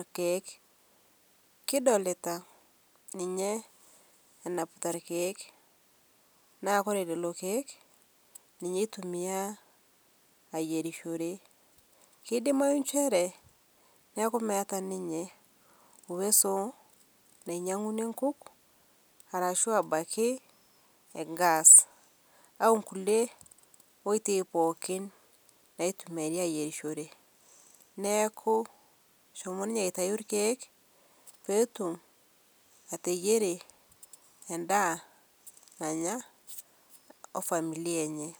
lkeek kidolitaa ninye enapita lkeek naa kore leloo keek ninye eitumia ayerishore keidimayu nchere naaku meata ninye uwezo nainyeng'unye nkuk arashu abaki ngaas au nkulie oitei pookin naitumiarii ayerisho naaku eshomo ninyee aitayuu lkeek peetum ateyerie endaa nanya ofamilia enyee.